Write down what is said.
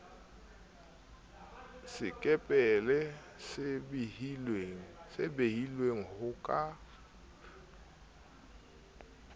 sekepele se behilweng ho ka